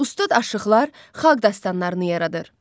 Ustad aşıqlar xalq dastanlarını yaradır.